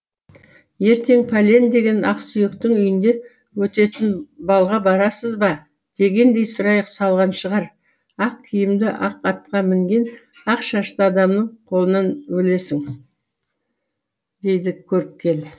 ертең пәлен деген ақсүйектің үйінде өтетін балға барасыз ба дегендей сұрайқ салған шығар ақ киімді ақ атқа мінген ақ шашты адамның қолынан өлесің дейді көріпкел